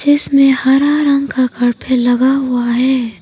इसमें हरा रंग का कारपेट लगा हुआ है।